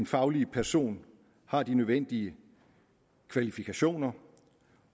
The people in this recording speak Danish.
faglige person har de nødvendige kvalifikationer